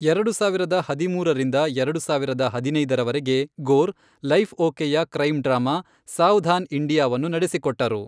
ಎರಡು ಸಾವಿರದ ಹದಿಮೂರರಿಂದ ಎರಡು ಸಾವಿರದ ಹದಿನೈದರವರೆಗೆ, ಗೋರ್ ಲೈಫ್ ಓಕೆಯ ಕ್ರೈಂ ಡ್ರಾಮಾ ಸಾವಧಾನ್ ಇಂಡಿಯಾವನ್ನು ನಡೆಸಿಕೊಟ್ಟರು.